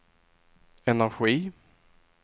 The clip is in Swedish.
energi